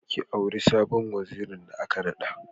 Ki auri sabon wazirin da aka naɗa.